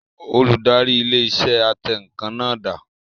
Olùdarí ilé iṣẹ́ atẹǹkan náà dà?